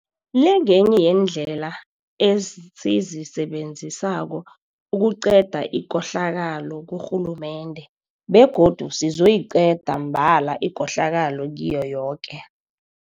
le ngenye yeendlela esizisebe nzisako ukuqeda ikohlakalo kurhulumende begodu sizoyiqeda mbala ikohlakalo kiyo yoke